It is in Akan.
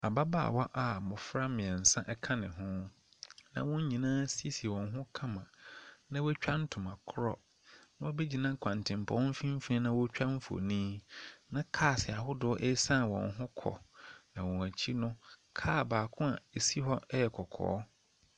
Ababaawa a mmofra mmeɛnsa ɛka ne ho, na wɔn nyinaa asiesie wɔn ho kama. Na watwa ntoma korɔ, na wabɛgyina kwantenpɔn mfinfin na ɔɔtwa mfonin, na kaas ahodoɔ eesan wɔn ho kɔ, na wɔn akyi no, kaa baako a esi ɔ ɛyɛ kɔkɔɔ.